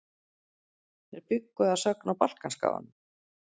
Þeir bjuggu að sögn á Balkanskaganum.